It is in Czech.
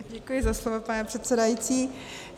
Děkuji za slovo, pane předsedající.